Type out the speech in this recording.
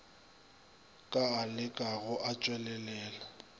ka a lekago a tšwelelela